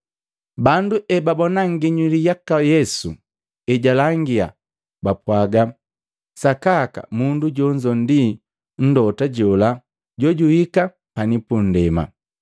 Bandu ebabona nginyuli yaka Yesu ejalangia, bapwaga, “Sakaka mundu jonzo ndi mlota jola jojuhika pani puundema!”